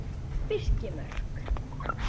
Birkimörk